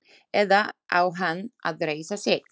Eða á hann að reisa sig?